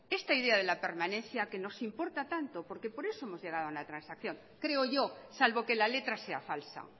esta idea de la permanencia que nos importa tanto porque por eso hemos llegado a una transacción creo yo salvo que la letra sea falsa